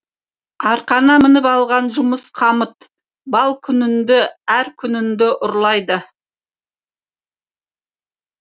арқаңа мініп алған жұмыс қамыт бал күніңді әр күніңді ұрлайды